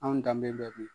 Anw danbe bɛ